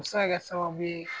O bi se ka kɛ sababu ye